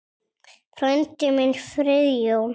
Frændi minn, Friðjón